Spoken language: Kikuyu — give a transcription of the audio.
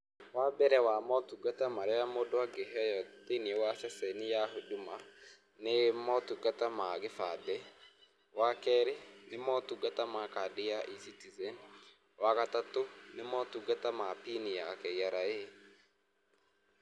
Wa mbere wa maũtungata marĩa mũndũ angĩheo thĩiniĩ wa ceceni ya huduma, nĩ motungata ma gĩbandĩ, wa kerĩ, nĩ motungata ma kandi ya e-Citizen , wa gatatũ, nĩ motungata ma pin ya KRA.